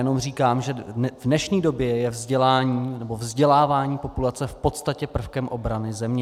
Jen říkám, že v dnešní době je vzdělávání populace v podstatě prvkem obrany země.